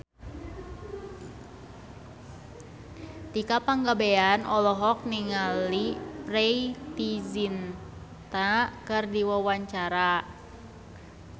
Tika Pangabean olohok ningali Preity Zinta keur diwawancara